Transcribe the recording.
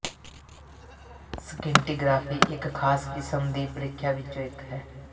scintigraphy ਇਕ ਖਾਸ ਕਿਸਮ ਦੀ ਪ੍ਰੀਖਿਆ ਵਿੱਚੋਂ ਇੱਕ ਹੈ